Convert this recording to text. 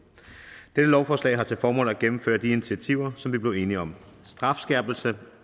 dette lovforslag har til formål at gennemføre de initiativer som vi blev enige om strafskærpelsen